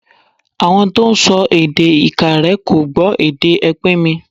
Àwọn tó ń sọ èdè Ìkàrẹ́ kò gbọ́ èdè ẹpìnmì.